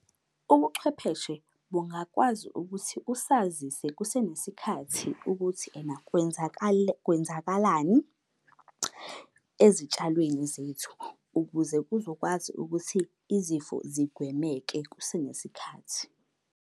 Ubuchwepheshe bungakwazi ukuthi usazise kusenesikhathi ukuthi ena kwenzakalani ezitshalweni zethu, ukuze kuzokwazi ukuthi izifo zigwemeke kusenesikhathi.